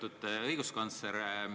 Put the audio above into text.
Lugupeetud õiguskantsler!